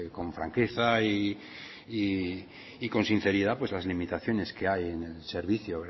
con franqueza y con sinceridad las limitaciones que hay en el servicio